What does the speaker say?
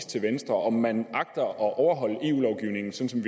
til venstre om man agter at overholde eu lovgivningen sådan